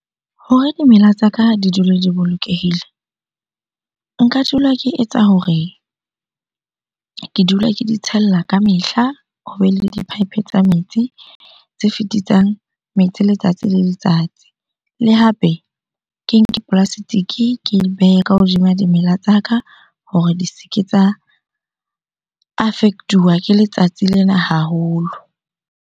Hore dimela tsa ka di dule di bolokehile nka dula ke etsa hore ke dula ke di tshella ka mehla, hobe le di-pipe tsa metsi tse fetisisang metsi letsatsi le letsatsi. Le hape ke nke plastic-e ke di behe ka hodima dimela tsa ka hore di se ke tsa affect-uwa ke letsatsi lena haholo.